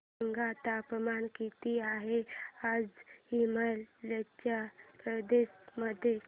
सांगा तापमान किती आहे आज हिमाचल प्रदेश मध्ये